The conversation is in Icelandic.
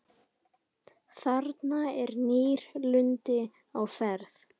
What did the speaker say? Þarna er nýlunda á ferð.